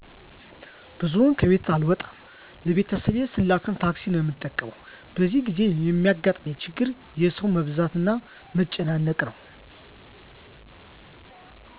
ብዙም ከቤት አልወጣም ለቤተሰብ ስላክም ታክሲን ነው የምጠቀመው በዚህን ጊዜ የሚያጋጥመኝ ችግር የሠው መብዛትና መጨናነቅ ነው